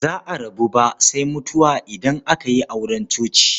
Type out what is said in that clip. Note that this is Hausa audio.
Ba za a rabu ba sai mutuwa idan aka yi auren coci.